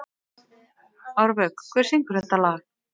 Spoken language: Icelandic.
Árvök, hver syngur þetta lag?